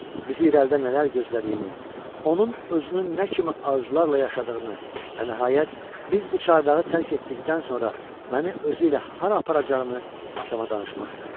Bizi irəlidə nələr gözlədiyini, onun özünün nə kimi arzularla yaşadığını və nəhayət, biz bu çardağı tərk etdikdən sonra məni özü ilə hara aparacağını atama danışmaq istəyirdim.